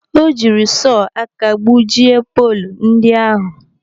O jiri sọọ aka gbujie poolu ndị ahụ.